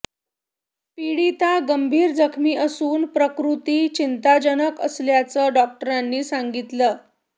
पीडिता गंभीर जखमी असून प्रकृती चिंताजनक असल्याचं डॉक्टरांनी सांगितलं